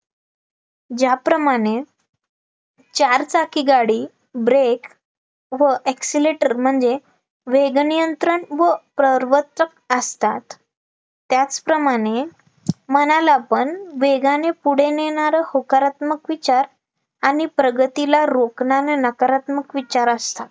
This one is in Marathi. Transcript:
त्याचप्रमाणे मनाला पण, वेगाने पुढे नेणारं होकारात्मक विचार आणि प्रगतीला रोक्णारे नकारात्मक विचार असतात